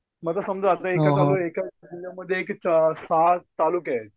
म्हणजे आता समजा एका तालुक्यामध्ये एका जिल्ह्यामध्ये सहा तालुके आहेत